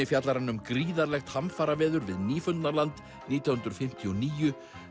fjallar um gríðarlegt hamfaraveður við Nýfundnaland nítján hundruð fimmtíu og níu